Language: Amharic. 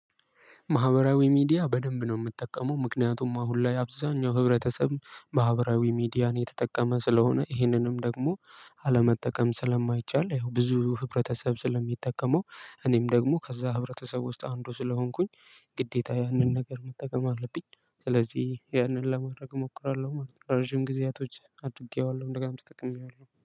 ማህበራዊ ሚዲያ በደንብ ነው እምጠቀመው ምክንያቱም አሁን ላይ አብዛኛው ህብረተሰብ ማህበራዊ ሚዲያን እየተጠቀመ ስለሆነ ይህንንም ደግሞ አለመጠቀም ስለማይቻል ያው ብዙ ህብረተሰብ ስለሚጠቀመው እኔም ደግሞ ከዛ ህብረተሰብ ውስጥ አንዱ ስለሆንኩኝ ግዴታ ያንን ነገር መጠቀም አለብኝ ስለዚህ ያንን ለማድረግ እሞክራለሁ ማለት ነው። ረጅም ጊዜያቶች አድጌዋለሁ እንደገና ተጠቅሜዋለሁ